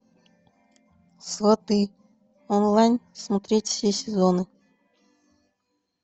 сваты онлайн смотреть все сезоны